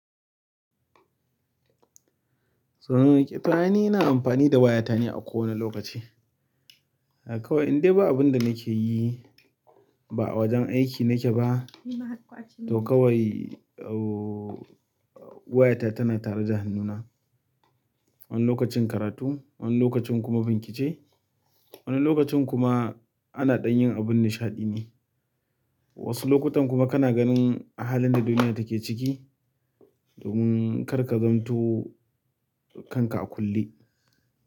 Toh, ni na amfani da waya ta ne a kowane lokaci. A kawai idan ba abun da nake yi ba a wajen aiki nake ba, to kawai, ooo, waya ta tana tare da hannuna. Wani lokacin karatu, wani lokacin kuma binkice wani lokacin kuma ana ɗan yin abun nishaɗi ne. Wasu lokutan kuma kana ganin halin da duniya take ciki, domin kar ka zantu kanka a kulle.